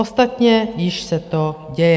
Ostatně již se to děje.